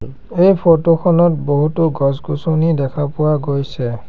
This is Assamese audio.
এই ফটো খনত বহুতো গছ-গছনি দেখা পোৱা গৈছে।